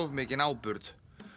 mikinn áburð